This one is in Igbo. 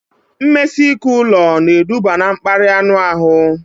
Mmesike ụlọ na eduba na mkparịa anụ ahụ